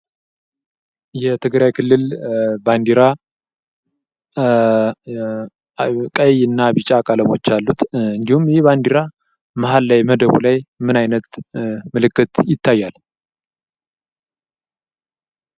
የትግራይ ክልል ባንዲራ ቀይ እና ቢጫ ቀለሞች አሉት፤ እንዲሁም ይህ ባንዲራ መሃል ላይ መደቡ ላይ ምን አይነት ምልክት ይታያል?